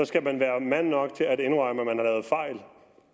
skal man være mand nok til at indrømme at man har